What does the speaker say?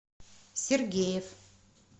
сергеев